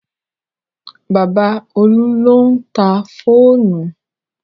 Bàbá Olú ló ń ta fóònù